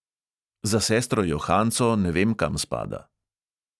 Za sestro johanco ne vem, kam spada.